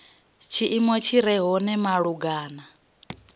tshiimo tshi re hone malugana